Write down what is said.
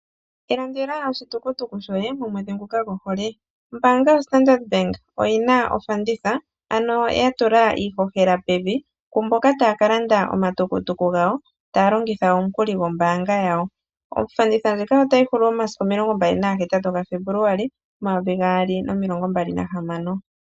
Ilandela oshitukutuku shoye momwedhi nguka gwohole. Ombaanga yoStandard bank oyina ofanditha ano yatula iihohela pevi kumboka taya kalanda omatukutuku gawo taya longitha omukuli gwombaanga yawo. Ofanditha ndjika otayi hulu momasiku omilongo mbali na ga hetatu gaFebuluali omayovi gaali nomilongo mbali nahamano.